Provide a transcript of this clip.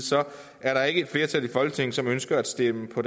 er der ikke et flertal i folketinget som ønsker at stemme for